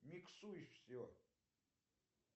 миксуй все